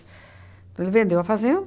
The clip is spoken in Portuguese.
Então ele vendeu a fazenda.